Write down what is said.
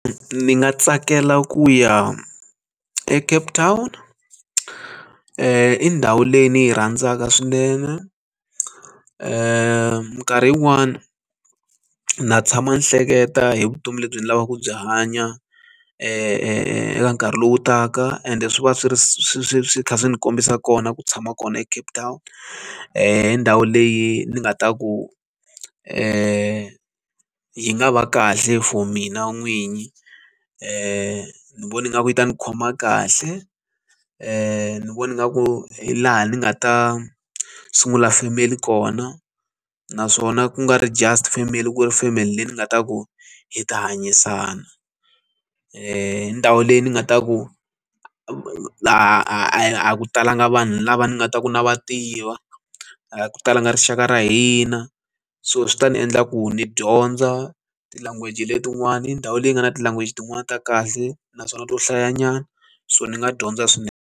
Ni nga tsakela ku ya a Cape town i ndhawu leyi ni yi rhandzaka swinene nkarhi yin'wana na tshama ni hleketa hi vutomi lebyi ni lavaka ku byi hanya eka nkarhi lowu taka ende swi va swi ri swi swi swi kha swi kombisa kona ku tshama kona eCape town endhawu leyi ni nga ta ku yi nga va kahle for mina n'wini ni vona nga ku yi ta ni khoma kahle ni vona nga ku hi laha ni nga ta sungula family kona naswona ku nga ri just family ku ri family leyi ni nga ta ku hi ta hanyisana ndhawu leyi ni nga ta ku laha a ku talanga vanhu lava ni nga ta ku na va tiva talanga rixaka ra hina so swi ta ni endla ku ni dyondza ti-language letin'wani hi ndhawu leyi nga na ti-language tin'wani ta kahle naswona to hlaya nyana so ni nga dyondza swinene.